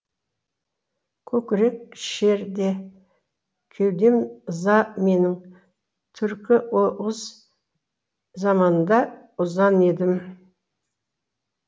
көкірек шер де кеудем ыза менің түркі оғыз заманында ұзан едім